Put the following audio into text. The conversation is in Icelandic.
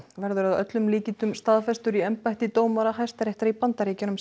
verður að öllum líkindum staðfestur í embætti dómara Hæstaréttar í Bandaríkjunum